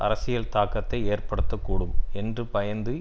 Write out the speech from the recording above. அரசியல் தாக்கத்தை ஏற்படுத்த கூடும் என்று பயந்து